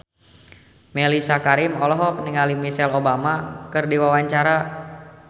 Mellisa Karim olohok ningali Michelle Obama keur diwawancara